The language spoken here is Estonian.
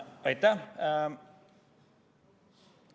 Aitäh!